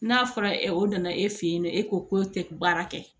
N'a fɔra e nana e fɛ yen nɔ e ko k'o tɛ baara kɛ